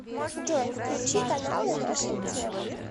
джой включи каналы наша тема